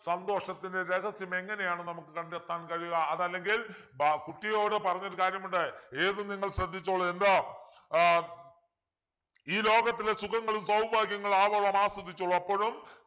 സന്തോഷത്തിൻ്റെ രഹസ്യം എങ്ങനെയാണ് നമുക്ക് കണ്ടെത്താൻ കഴിയുക അതല്ലെങ്കിൽ ബാ കുട്ടിയോട് പറഞ്ഞൊരു കാര്യമുണ്ട് ഏത് നിങ്ങൾ ശ്രദ്ധിച്ചോളു എന്താ ആഹ് ഈ ലോകത്തിലെ സുഖങ്ങളും സൗഭാഗ്യങ്ങളും ആവോളം ആസ്വദിച്ചോളൂ അപ്പോഴും